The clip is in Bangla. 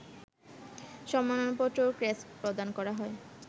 সম্মাননাপত্র ও ক্রেস্ট প্রদান করা হয়